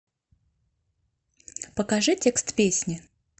покажи текст песни